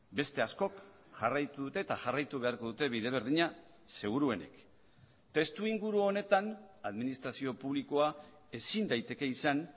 beste askok jarraitu dute eta jarraitu beharko dute bide berdina seguruenik testuinguru honetan administrazio publikoa ezin daiteke izan